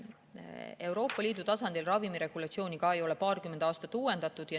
Euroopa Liidu tasandil ei ole ravimiregulatsiooni ka paarkümmend aastat uuendatud.